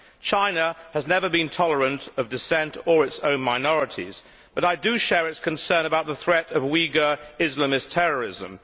China has never been tolerant of dissent or its own minorities, but I do share its concern about the threat of Uighur Islamist terrorism.